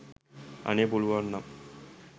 අනේ පුළුවන්නම්